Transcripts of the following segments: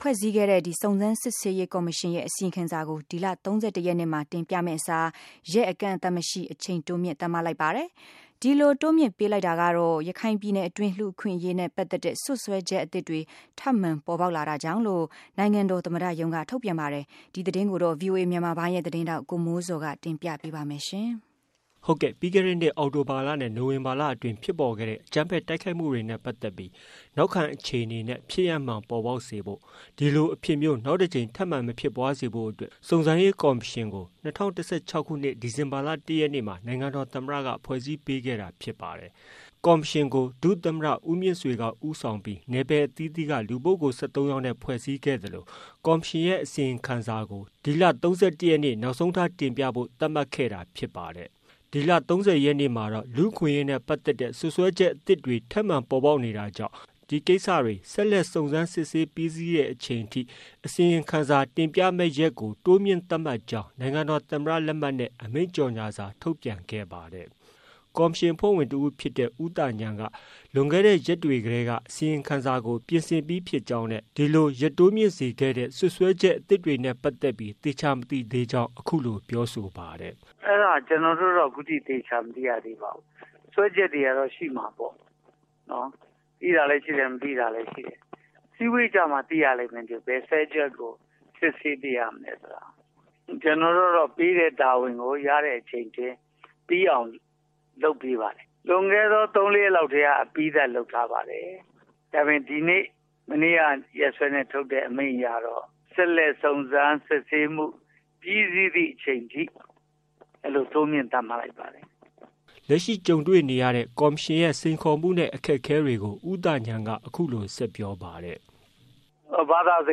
ဖွဲ့စည်းခဲ့တဲ့ စုံစမ်းစစ်ဆေးရေးကော်မရှင်ရဲ့ အစီရင်ခံစာကို ဒီလ ၃၁ရက်နေ့မှာ တင်ပြရမယ့်အစား ရက်အကန့်အသတ်မရှိ အချိန်တိုးမြှင့်သတ်မှတ်လိုက်ပါတယ်။ ဒီလို တိုးမြှင့်ပေးလိုက်တာကတော့ ရခိုင်ပြည်နယ်အတွင်း လူ့အခွင့်အရေးနဲ့ပတ်သက်တဲ့စွပ်စွဲချက်အသစ်တွေ ထပ်မံပေါ်ပေါက်လာတာကြောင့်လို့ နိုင်ငံတော်သမ္မတရုံးက ထုတ်ပြန်ပါတယ်။ ဒီသတင်းကိုတော့ ဗွီအိုအေမြန်မာပိုင်းရဲ့သတင်းထောက် ကိုမိုးဇော်က တင်ပြထားပါတယ်။ ပြီးခဲ့တဲ့နှစ် အောက်တိုဘာလနဲ့ နိုဝင်ဘာလအတွင်းမှာ ဖြစ်ပေါ်ခဲ့တဲ့ အကြမ်းဖက် တိုက်ခိုက်တာတွေနဲ့ပတ်သက်ပြီး နောက်ခံအခြေအနေနဲ့ အဖြစ်မှန်ပေါ်ပေါက်စေဖို့၊ ဒီလို အဖြစ်မျိုး နောက်တကြိမ် ထပ်မံမဖြစ်ပွားစေဖို့အတွက် စုံစမ်းစစ်ဆေးရေးကော်မရှင်ကို ၂၀၁၆ခုနှစ် ဒီဇင်ဘာလ ၁ရက်နေ့မှာ နိုင်ငံတော်သမ္မတက ဖွဲ့စည်းခဲ့တာဖြစ်ပါတယ်။ ဒီကော်မရှင်ကို ဒုသမ္မတ ဦးမြင့်ဆွေက ဦးဆောင်ပြီး နယ်ပယ်အသီးသီးက လူပုဂ္ဂိုလ် ၁၃ယောက်နဲ့ ဖွဲ့စည်းခဲ့သလို ကော်မရှင်ရဲ့အစီရင်ခံစာကို ဒီလ ၃၁ရက်နေ့ နောက်ဆုံးထား တင်ပြဖို့ သတ်မှတ်ခဲ့တာဖြစ်ပါတယ်။ ဒီလ ၃၀ရက်နေ့မှာတော့ လူ့အခွင့်အရေးနဲ့ ပတ်သက်တဲ့ စွပ်စွဲချက်အသစ်တွေ ထပ်မံပေါ်ပေါက်နေတာကြောင့် ဒီကိစ္စတွေ ဆက်လက် စုံစမ်းစစ်ဆေးတာပြီးစီးတဲ့အချိန်ထိ အစီရင်ခံစာတင်ပြမယ့်ရက်ကို တိုးမြှင့်သတ်မှတ်ကြောင်း နိုင်ငံတော်သမ္မတလက်မှတ်နဲ့ အမိန့်ကြေညာစာထုတ်ပြန်ခဲ့ပါတယ်။ ကော်မရှင် အဖွဲ့ဝင်တဦးဖြစ်တဲ့ ဦးသာဉာဏ်က လွန်ခဲ့တဲ့ရက်တွေတည်းက အစီရင်ခံစာကို ပြင်ဆင်ပြီးဖြစ်ကြောင်းနဲ့ ဒီလို ရက်တိုးမြှင့်ရတဲ့ စွပ်စွဲချက်အသစ်နဲ့ပတ်သက်ပြီး သေချာ မသိသေးကြောင်း အခုလို ပြောဆိုပါတယ်။ “အဲဒါ ကျနော်တို့ကတော့ အခုအထိ သေချာမသိရသေးပါဘူး။ စွဲချက်တွေကတော့ ရှိမှာပေါ့နော် ၊ သိတာလည်းရှိတယ်၊ မသိတာလည်းရှိတယ်။ အစည်းအဝေးကျမှ သိရလိမ့်မယ်၊ ဘယ်ဟာကို စွဲ ချက်ကို စစ်ဆေးပေးရမလဲဆိုတာ၊ ကျနော်တို့ကတော့ ပေးတဲ့ တာဝန်ကို ရတဲ့အချိန်အတွင်း ပြီးအောင် လုပ်ပေးပါတယ်၊ လွှန်ခဲ့တဲ့ ၃-၄ ရက်ကတည်းက အပြီးသတ်လုပ်ထားပါတယ်၊ အပြီးသတ် လုပ်ပြီးပါပြီ။ ဒါပေမယ့် မနေ့က ရက်စွဲနဲ့ ထုတ်တဲ့ အမိန့်အရကတော့ ဆက်လက်စုံစမ်းစစ်ဆေးမှု ပြီးစီးသည့်အချိန်အထိ အဲလို တိုးမြှင့်သတ်မှတ်လိုက်ပါတယ်။” လက်ရှိကြုံတွေ့နေရတဲ့ ကော်မရှင်ရဲ့စိန်ခေါ်မှုနဲ့ အခက်အခဲတွေကို ဦးသာဉာဏ်က အခုလို ဆက်ပြောပါတယ်။ “နံပတ် ၁ ကတော့ ဘာသာစ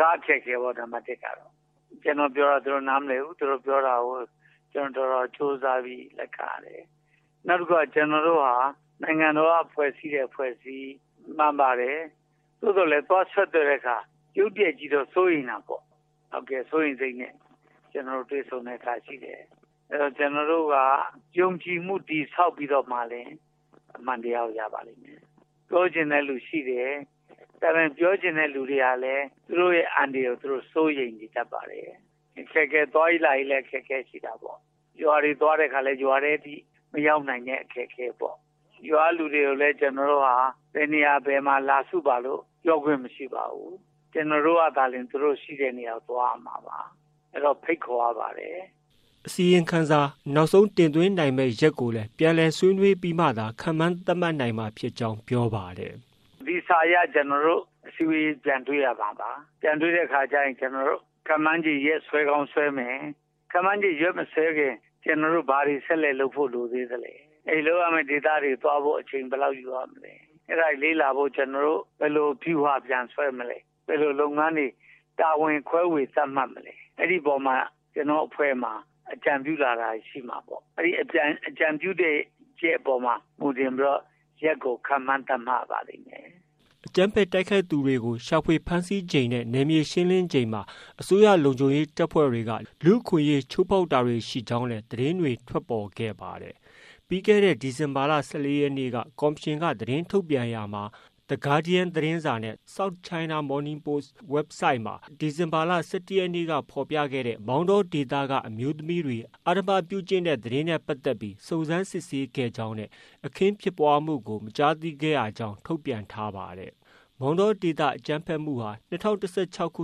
ကားအခက်အခဲပေါ့၊ ကျနော်တို့ ပြောတာကို သူတို့ နားမလည်ဘူး၊ သူတို့ပြောတာကို ကျနော်တို့ တော်တော်ကြိုးစားပြီး လက်ခံရတယ်။ နောက်တခုက ကျနော်တို့ဟာ နိုင်ငံတော်က ဖွဲ့တဲ့ အဖွဲ့အစည်းမှန်ပါတယ်။ သို့သော်လည်း သွားဆက်သွယ်တဲ့အခါ ရုတ်တရက်ကြီးတော့ စိုးရိမ်တာပေါ့၊ စိုးရိမ်စိတ်နဲ့ ကျနော်တို့ကို တွေ့ဆုံတာရှိတယ်။ အဲဒီတော့ ကျနော်တို့က ယုံကြည်မှု တည်ဆောက်ပြီးတော့မှ အမှန်တရားကို ရပါလိမ့်မယ်။ ပြောချင်တဲ့လူတွေရှိတယ်၊ ဒါပေမယ့် ပြောချင်တဲ့လူတွေကလည်း သူတို့ အန္တရာယ်ကို သူတို့ စိုးရိမ်နေပါတယ်။ သွားရေးလာရေးလည်း အခက်အခဲရှိတာပေါ့၊ ရွာတွေကို သွားတဲ့အခါ ရွာကို မရောက်နိုင်တဲ့ အခက်အခဲပေါ့။ ရွာကလူတွေကိုလည်း ကျနော်တို့က ဘယ်နေရာ ဘယ်မှာ လာစုပါ ဆိုပြီးတော့ ပြောခွင့်မရှိပါဘူး။ ကျနော်တို့ကသာလျှင် သူတို့ ရှိတဲ့ နေရာကို သွားရမှာပါ၊ အဲဒီတော့ ဖိတ်ခေါ်ရပါတယ်။” အစီရင်ခံစာနောက်ဆုံးတင်သွင်းနိုင်မယ့်ရက်ကိုလည်း ပြန်လည်ဆွေးနွေးပြီးမှသာ ခန့်မှန်းသတ်မှတ်နိုင်မှာဖြစ်ကြောင်းလည်း ပြောပါတယ်။ “ဒီစာအရ ကျနော်တို့ အစည်းအဝေးပြန်တွေ့ရမှာပါ။ အဲဒီအခါကျရင် ကျနော်တို့ ခန့်မှန်းခြေရက်စွဲ ဆွဲကောင်းဆွဲမယ်။ ခန့်မှန်းခြေရက်မဆွဲခင် ကျနော်တို့ ဘာတွေဆက်လက်လုပ်ဖို့ လိုသေးသလဲ၊ အဲဒီလုပ်ရမယ့်ဒေသတွေ သွားဖို့အချိန် ဘယ်လောက်ယူရမလဲ၊အဲဒါတွေလေ့လာဖို့ ကျနော်တို့ ဘယ်လိုဗျူဟာတွေ ပြန်ဆွဲမလဲ၊ ဘယ်လိုလုပ်ငန်းတွေ တာဝန်ခွဲေ၀ သတ်မှတ်မလဲ ၊ အဲဒီအပေါ်မှာ ကျနော်တို့အဖွဲ့မှာ အကြံပြုလာတာတွေ ရှိမှာပေါ့ အဲဒီအကြံပြုချက်တွေကို မူတည်ပြီးတော့ ရက်ကို ခန့်မှန်းထားရပါလိမ့်မယ်။” အကြမ်းဖက်တိုက်ခိုက်သူတွေကို ရှာဖွေဖမ်းဆီးချိန်နဲ့ နယ်မြေရှင်းလင်းချိန်မှာ အစိုးရလုံခြုံရေးတပ်ဖွဲ့တွေက လူ့အခွင့်အရေးချိုးဖောက်တာတွေ ရှိကြောင်းလည်း သတင်းတွေ ထွက်ပေါ်နေပါတယ်။ ပြီးခဲ့တဲ့ ဒီဇင်ဘာလ ၁၄ရက်နေ့က ကော်မရှင်က သတင်းထုတ်ပြန်ရာမှာ The Guardian သတင်းစာ၊ South China Morning Post Websiteမှာ ၁၁-၁၂-၂၀၁၆ နဲ့ ဖော်ပြခဲ့တဲ့ မောင်တောဒေသက အမျိုးသမီးတွေ အဓမ္မပြုကျင့်တဲ့သတင်းနဲ့ ပတ်သက်ပြီး စုံစမ်းစစ်ဆေးခဲ့ကြောင်းနဲ့ အခင်းဖြစ်ပွားမှုကို မတွေ့ရကြောင်း ထုတ်ပြန်ထားပါတယ်။ မောင်တောဒေသအကြမ်းဖက်မှုဟာ၂၀၁၆ခု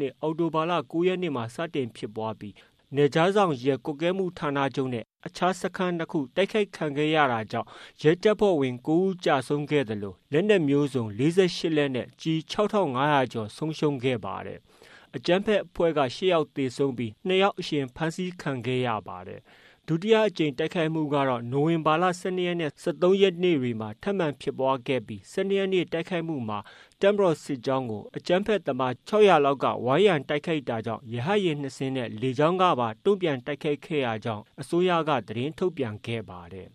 နှစ် အောက်တိုဘာလ ၉ရက်နေ့မှာ စတင်ဖြစ်ပွားပြီး နယ်ခြားစောင့်ရဲကွပ်ကဲမှုဌာနချုပ်နဲ့ အခြားစခန်း၂ခု တိုက်ခိုက်ခံရပြီး ရဲတပ်ဖွဲ့ဝင် ၉ယောက်ကျဆုံးခဲ့ရသလို လက်နက်မျိုးစုံ ၄၈လက်နဲ့ ကျည် ၆ထောင်၅ရာကျော်ဆုံးရှုံးခဲ့ပါတယ်။ အကြမ်းဖက်အဖွဲ့ဖက်က ၈ယောက်သေဆုံးပြီး ၂ယောက် အရှင်ဖမ်းဆီးရမိခဲ့ပါတယ်။ ဒုတိယအကြိမ်တိုက်ခိုက်မှုကတော့ နိုဝင်ဘာလ ၁၂ရက်နဲ့ ၁၃ရက်တွေမှာ ထပ်မံဖြစ်ပွားခဲ့ပြီး ၁၂ရက်နေ့ တိုက်ခိုက်မှုမှာ တပ်မတော်စစ်ကြောင်းကို အကြမ်းဖက် သမား ၆၀၀ လောက်က ဝိုင်းရံတိုက်ခိုက်တာကြောင့် ရဟတ်ယာဉ် ၂စင်းနဲ့ လေကြောင်း က တုံ့ပြန်တိုက်ခိုက်ခဲ့ရကြောင်း အစိုးရက သတင်းထုတ်ပြန်ခဲ့ပါတယ်။